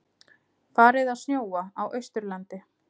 Farið að snjóa á Austurlandi